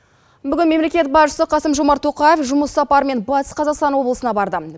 бүгін мемлекет басшысы қасым жомарт тоқаев жұмыс сапарымен батыс қазақстан облысына барды